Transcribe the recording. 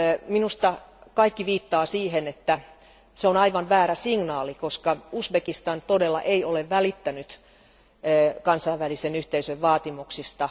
Minusta kaikki viittaa siihen, että se on aivan väärä signaali, koska Uzbekistan ei todellakaan ole välittänyt kansainvälisen yhteisön vaatimuksista.